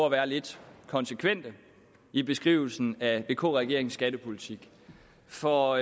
at være lidt konsekvente i beskrivelsen af vk regeringens skattepolitik for